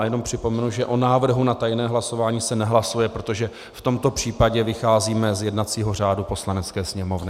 A jenom připomenu, že o návrhu na tajné hlasování se nehlasuje, protože v tomto případě vycházíme z jednacího řádu Poslanecké sněmovny.